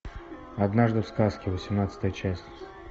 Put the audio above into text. однажды в сказке восемнадцатая часть